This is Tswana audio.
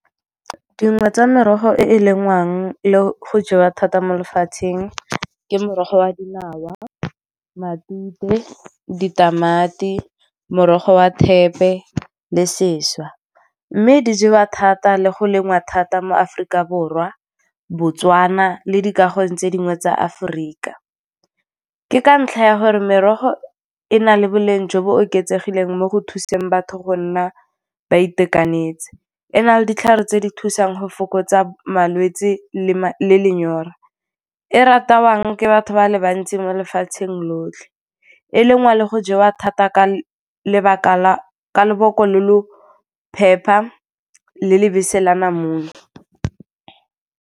Dingwe tsa merogo e e lengwang le go jewa thata mo lefatsheng ke morogo wa dinawa, matute, ditamati, morogo wa thepe le seswa. Mme di jewa thata le go lengwa thata mo Aforika Borwa, Botswana le dikagong tse dingwe tsa Aforika. Ke ka ntlha ya gore merogo e na le boleng jo bo oketsegileng mo go thuseng batho go nna ba itekanetse, e na le ditlhare tse di thusang go fokotsa malwetse le lenyora. E ratiwang ke batho ba le bantsi mo lefatsheng lotlhe, e lengwa le go jewa thata ka lobako lo lo phepa le lebese le namune.